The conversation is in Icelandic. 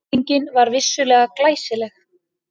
Sýningin var vissulega glæsileg.